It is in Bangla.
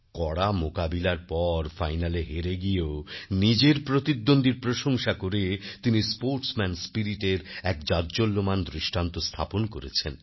কড়া মোকাবিলার পর ফাইনালে হেরে গিয়েও নিজের প্রতিদ্বন্দ্বীর প্রশংসা করে তিনি স্পোর্টসম্যান স্পিরিটএর এক জাজ্বল্যমান দৃষ্টান্ত স্থাপন করেছেন